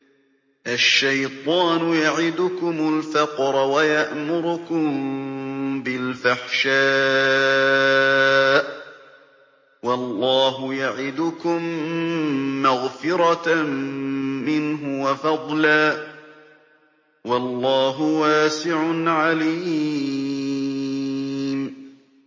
الشَّيْطَانُ يَعِدُكُمُ الْفَقْرَ وَيَأْمُرُكُم بِالْفَحْشَاءِ ۖ وَاللَّهُ يَعِدُكُم مَّغْفِرَةً مِّنْهُ وَفَضْلًا ۗ وَاللَّهُ وَاسِعٌ عَلِيمٌ